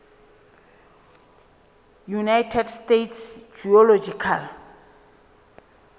united states geological